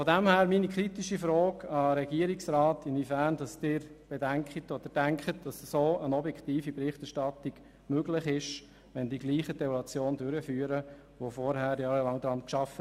Von daher meine kritische Frage an den Regierungsrat, inwiefern eine objektive Berichterstattung möglich ist, wenn die Gleichen die Evaluation durchführen, die vorher jahrelang an der Sache gearbeitet haben.